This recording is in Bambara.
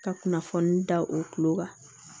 Ka kunnafoni da o kulo kan